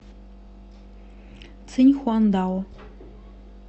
циньхуандао